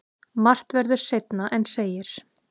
Margt verður seinna en segir.